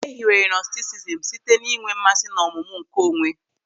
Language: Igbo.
E hiwere Nọstisizm site n'inwe mmasị n'ọmụmụ nke onwe.